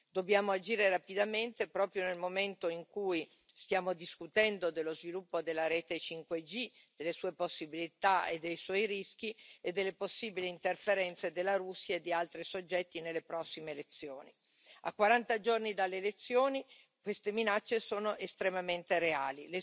Dobbiamo agire rapidamente, proprio nel momento in cui stiamo discutendo dello sviluppo della rete 5G, delle sue possibilità e dei suoi rischi, e delle possibili interferenze della Russia e di altri soggetti nelle prossime elezioni. A quaranta giorni dalle elezioni queste minacce sono estremamente reali.